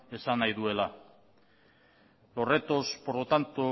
esan nahi duela los retos por lo tanto